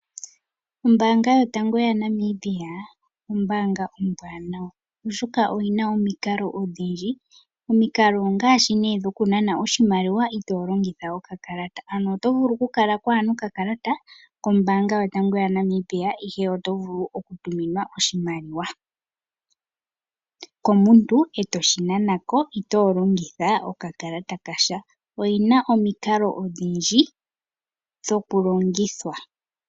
Ombaanga yotango yaNamibia ombaanga ombwanawa oshoka oyina omikalo odhindji. Omikalo ongaashi nee dhoku nana oshimaliwa itolongitha okakalata ano otovulu okukala kuna okakalata kombaanga yotango yaNamibia ashike otovulu oku tuminwa oshimaliwa komuntu etoshi nanako ito longitha okakalata kasha. oyina omikalo odhindji dhoku longithwa.